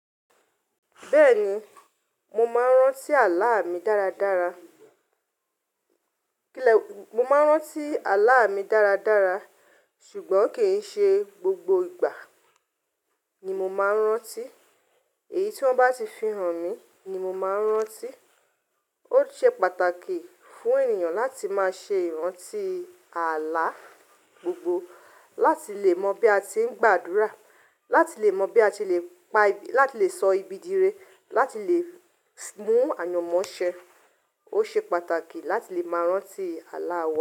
Bẹ́ẹ̀ni, mo máa ń rántí àlá mi dáradára. Kíló-- mo máa ń rántí àlá mi dáradára ṣùgbọ́n kì í ṣe gbogbo ìgbà ni mo máa ń rántí. Èyí tí wọ́n bá ti fihàn mi ni mo máa ń rántí. Ó ṣe pàtàkì fún ènìyàn láti máa ṣe ìrántí àlá gbogbo láti lè mọ bí a ti ń gbàdúrà, láti lè mọ bí a ti lè pa ibi-- láti lè sọ ibi dire, láti lè mú àyanmọ́ ṣẹ́. Ó ṣe pàtàkì láti lè máa rántí àlá wa.